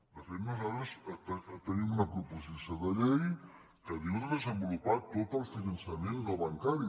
de fet nosaltres tenim una proposició de llei que diu de desenvolupar tot el finançament no bancari